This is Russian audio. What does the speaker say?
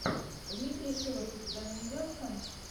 дмитрий шилов у тебя найдется